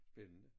Spændende